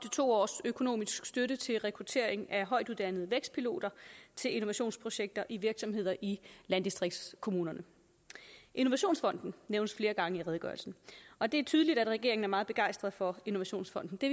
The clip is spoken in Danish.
to års økonomisk støtte til rekruttering af højtuddannede vækstpiloter til innovationsprojekter i virksomheder i landdistriktskommunerne innovationsfonden nævnes flere gange i redegørelsen og det er tydeligt at regeringen er meget begejstret for innovationsfonden det